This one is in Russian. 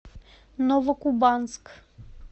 новокубанск